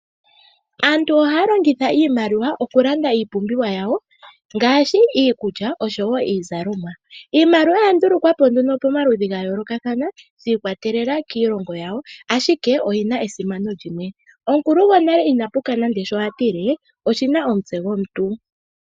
Aantu ohaya longitha iimaliwa okulanda iipumbiwa yawo ngaashi iikulya nosho wo iizalomwa. Iimaliwa oya ndulukwa po nduno pamaludhi gayoolokathana shi ikwatelela kiilongo yawo, ashike oyi na esimano limwe. Omukulu gonale ina puka nande sho a tile oshi na omutse gomuntu.